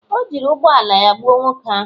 o jiri ụgbọ ala ya gbuo nwoke ahụ